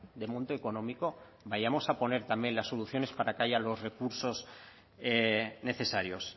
de monto económico vayamos a poner también las soluciones para que haya los recursos necesarios